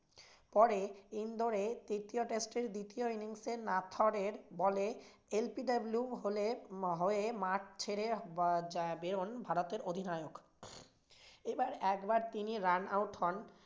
পরে ইন্দোরে তৃতীয় test এ দ্বিতীয় innings এ ball এ LBW হয়ে মাঠ ছেড়ে বেরোন ভারতের অধিনায়ক। এবার একবার তিনি run out হন।